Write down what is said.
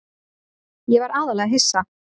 Ég var aðallega hissa.